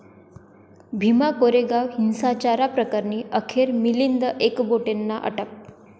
भीमा कोरेगाव हिंसाचार प्रकरणी अखेर मिलिंद एकबोटेंना अटक